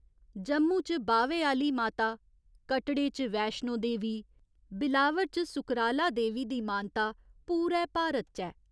जम्मू च बाह्‌वे आह्‌ली माता, कटड़े च वेश्णो देवी, बिलावर च सुकराला देवी दी मानता पूरै भारत च ऐ।